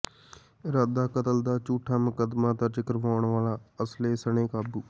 ਇਰਾਦਾ ਕਤਲ ਦਾ ਝੂਠਾ ਮੁਕੱਦਮਾ ਦਰਜ ਕਰਵਾਉਣ ਵਾਲਾ ਅਸਲ੍ਹੇ ਸਣੇ ਕਾਬੂ